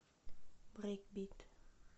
брейкбит